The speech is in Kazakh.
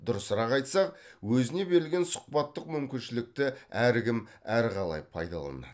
дұрысырақ айтсақ өзіне берілген сұхбаттық мүмкіншілікті әркім әрқалай пайдаланады